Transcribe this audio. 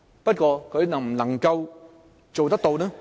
但她能否做到呢？